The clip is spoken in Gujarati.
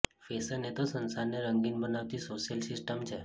ફેશન એ તો સંસારને રંગીન બનાવતી સોશિયલ સિસ્ટમ છે